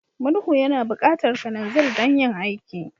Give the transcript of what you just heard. Murhu yana buƙatar kananzir don yin aiki.